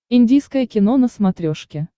индийское кино на смотрешке